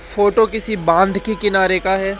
Photo किसी बांध के किनारे का है।